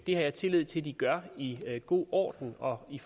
har jeg tillid til at de gør i god orden og i